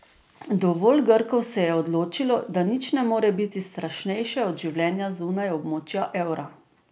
Dovolj Grkov se je odločilo, da nič ne more biti strašnejše od življenja zunaj območja evra.